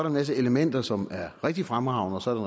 en masse elementer som er rigtig fremragende og så er